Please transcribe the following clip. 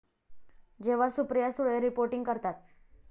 जेव्हा सुप्रिया सुळे रिपोर्टिंग करतात...